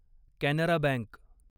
Canara bank